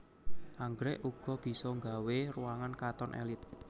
Anggrèk uga bisa nggawé ruangan katon èlit